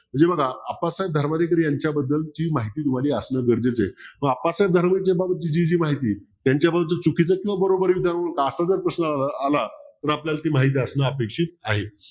हे बघा अप्पासाहेब धर्माधिकारी यांच्याबद्दल ही माहिती असणं गरजेचं आहे व अप्पासाहेब धर्माधिकारी यांची जी माहिती त्यांचाबद्दल असा जर प्रश्न आला तर आपल्याला माहित असणं अपेक्षित आहे.